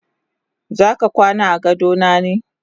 Zaka kwana agadona ne?